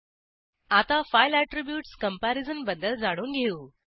आता file attributes comparison बद्दल जाणून घेऊ